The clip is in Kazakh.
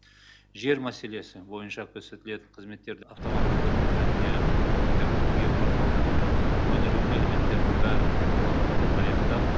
жер мәселесі бойынша көрсетілетін қызметтерді автоматтандыру жөнінде үкіметтер геопорталдарындағы өңірлік мәліметтердің бәрін цифрландыруды аяқтап